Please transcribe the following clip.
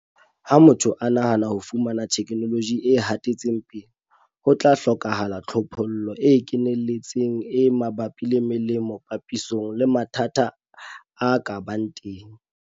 Ha motho a nahana ho fumana theknoloji e hatetseng pele, ho tla hlokahala tlhophollo e keneletseng e mabapi le melemo papisong le mathata a ka bang teng.